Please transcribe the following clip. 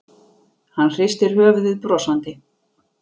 Hann hristir höfuðið brosandi.